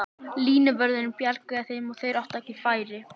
Línuvörðurinn bjargaði þeim og þeir áttu ekki færi.